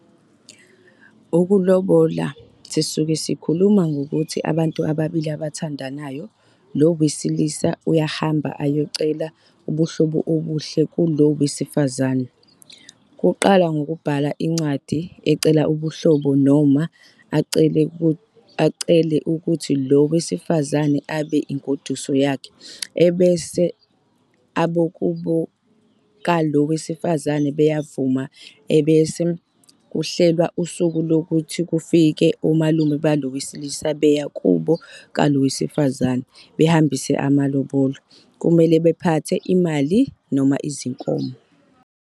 Ukulobola sisuke sikhuluma ngokuthi abantu ababili abathandanayo lo wesilisa uyahamba ayocela ubuhlobo obuhle kulo wesifazane. Uqala ngokubhala ingcwadi ecela ubuhlobo noma acela ukuthi lo wesifazane abe ingoduso yakhe. Bese abokubo ka lo wesifazane beyavuma bese kuhlelwa usuku lokuthi kufike omalume balo wesilisa beya kubo ka lo wesifazane behambise amalobolo.kumele baphathe imali noma izinkomo.